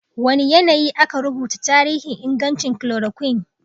Wane yanayi aka rubuta tarihin ingancin chloroquine?